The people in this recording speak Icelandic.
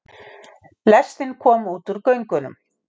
Lestin kom út úr göngunum.